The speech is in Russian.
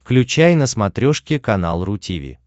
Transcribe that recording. включай на смотрешке канал ру ти ви